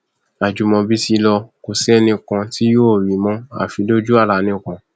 ajimobi ti lọ kò sì sẹnì kan tí yóò rí i mọ àfi lójú àlá nìkan